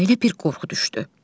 Ürəyinə bir qorxu düşdü.